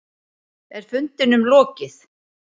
Er fundinum lokið?